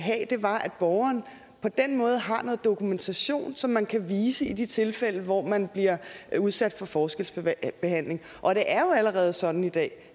borgeren på den måde har noget dokumentation som man kan vise i de tilfælde hvor man bliver udsat for forskelsbehandling og det er jo allerede sådan i dag